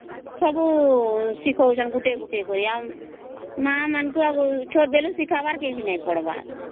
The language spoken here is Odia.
ସବୁ ଶିଖାଉଛନ୍ତି ଗୋଟେ ଗୋଟେ କରଇ ମା ମାନଂକୁ ଛୋଟ ବେଳ ରୁ ଶିଖାଇ ବାକୁ ଆଉ ନାହିଁ କି ପଢ଼ାବା ର ନାହିଁ